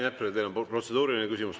Rain Epler, teil on protseduuriline küsimus.